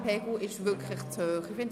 Der Lärmpegel ist wirklich zu hoch.